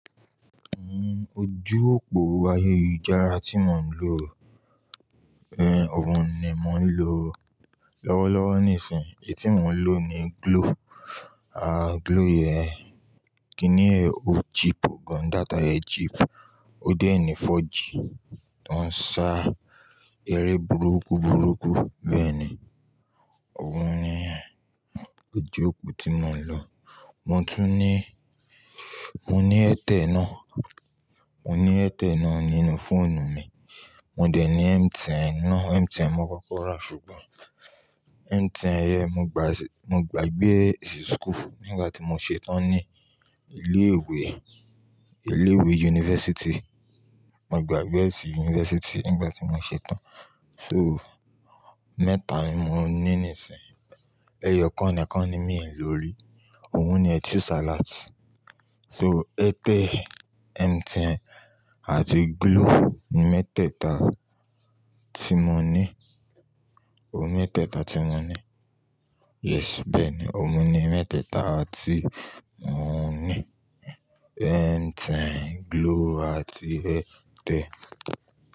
Uhm, ojú òpó ayélujára tí mo ń lò, eh, òun ni mo ń lò lọ́wọ́lọ́wọ́ nísìnyí. Èyí tí mò ń lò ni Glo, à, Glo yẹn kìni o cheap o gan, data yen cheap, ó dẹ̀ ní 4G tó ń ṣá eré burúkú burúkú. Bẹ́ẹ̀ ni, òun ni, eh, ojú òpó tí mò ń lò. Mo tún ní, mo ní Airtel náà, mo ní Airtel náà nínú fóònù mi. Mo dẹ̀ ní MTN náà, MTN mo koko rà, ṣùgbọ́n MTN yẹn mo gba, mo gba gbe e sí school nígbà tí mo ṣetán ní ilé ìwé, ilé ìwé university. Mo gba gbe s sí university nígbà tí mo ṣetán. So, mẹ́ta ni mo ní nísìnyí. Ẹyọ nìkan ni mí ń lò lórí. Òun ni i choose a lot. So, Airtel, MTN àti Glo ni mẹ́tẹ̀ẹ̀ta tí mo ní. O ni mẹ́tẹ̀ẹ̀ta tí mo ní. Yes, bẹ́ẹ̀ ni, oun ni mẹ́tẹ̀ẹ̀ta tí mò ń ní. MTN, Glo àti Airtel.